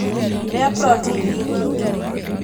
Rĩa protĩini nyingĩ